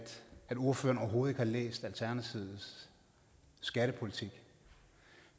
ordføreren overhovedet ikke har læst alternativets skattepolitik